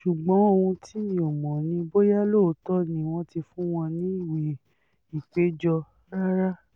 ṣùgbọ́n ohun tí mi ò mọ̀ ni bóyá lóòótọ́ ni wọ́n ti fún wọn níwèé ìpéjọ rárá